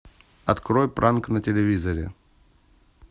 открой пранк на телевизоре